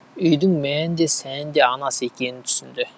үйдің мәні де сәні де анасы екенін түсінді